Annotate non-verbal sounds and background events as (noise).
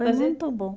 (unintelligible) muito bom.